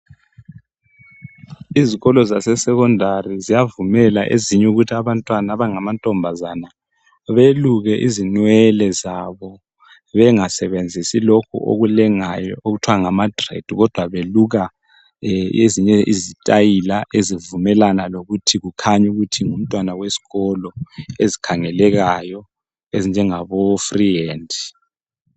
Izikolo zase Secondary ziyavumela ezinye ukuthi abantwana abangamantombazana beluke izinwele zabo. Bengasebenzisi lokhu okulengayo okuthiwa ngamadread kodwa beluka ezinye izistayila ezivumelana lokuthi kukhanye ukuthi ngumntwana wesikolo ezikhangelekayo ezinjengabo free hand.